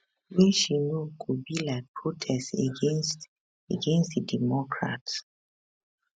wey she know go be like protest against against di democrats